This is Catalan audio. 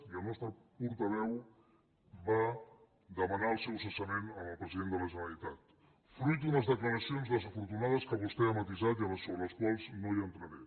i el nostre portaveu va demanar el seu cessament al president de la generalitat fruit d’unes declaracions desafortunades que vostè ha matisat i sobre les quals no entraré